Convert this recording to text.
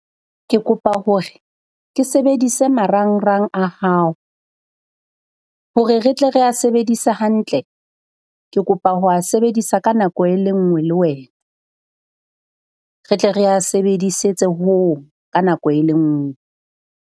Ke kopa hore ke sebedise marangrang a hao. Hore re tle rea sebedise hantle, ke kopa ho a sebedisa ka nako e le nngwe le wena re tle rea sebedisetse hong ka nako e le nngwe.